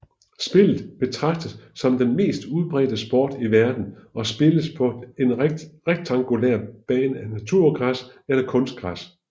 Spillet betragtes som den mest udbredte sport i verden og spilles på en rektangulær bane af naturgræs eller kunstgræs